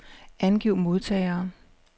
Angiv modtagere.